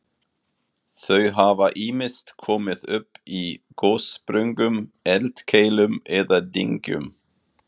Þau hafa ýmist komið upp í gossprungum, eldkeilum eða dyngjum.